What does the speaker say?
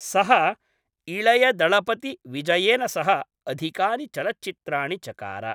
सः इळय दळपति विजयेन सह अधिकानि चलच्चित्राणि चकार।